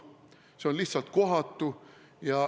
See on lihtsalt kohatu.